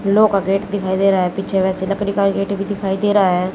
फूलो का गेट दिखाइ दे रहा है। पीछे वैसे लकडी का गेट भी दिखाई दे रहा है।